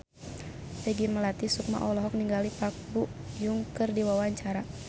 Peggy Melati Sukma olohok ningali Park Bo Yung keur diwawancara